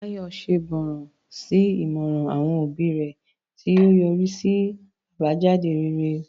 Funmilayo ṣègbọràn sí ìmọ̀ràn àwọn òbí rẹ̀, tí ó yọrí sí àbájáde rere.